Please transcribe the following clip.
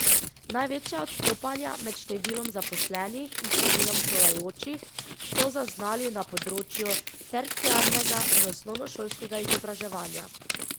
Največja odstopanja med številom zaposlenih in številom šolajočih so zaznali na področju terciarnega in osnovnošolskega izobraževanja.